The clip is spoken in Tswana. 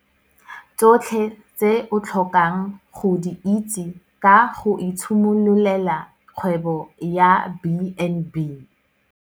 Tsotlhe tse o tlhokang go di itse ka go itshimololela kgwebo ya B and B.